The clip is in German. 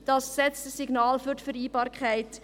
Das sendet ein Signal aus für die Vereinbarkeit.